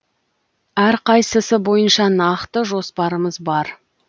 әрқайсысы бойынша нақты жоспарымыз бар